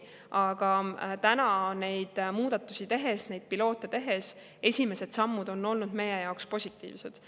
Aga neid muudatusi tehes, neid piloote tehes on esimesed sammud olnud meie jaoks positiivsed.